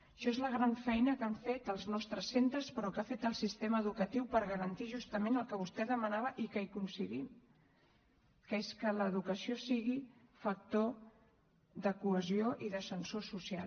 això és la gran feina que han fet els nostres centres però que ha fet el sistema educatiu per garantir justament el que vostè demanava i que hi coincidim que és que l’educació sigui factor de cohesió i d’ascensor social